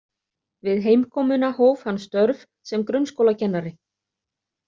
Við heimkomuna hóf hann störf sem grunnskólakennari.